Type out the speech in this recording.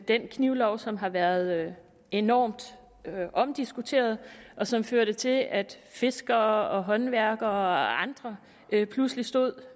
den knivlov som har været enormt omdiskuteret og som førte til at fiskere håndværkere og andre pludselig stod